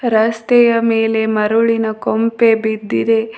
ರಸ್ತೆಯ ಮೇಲೆ ಮರುಳಿನ ಕೊಂಪೆ ಬಿದ್ದಿದೆ.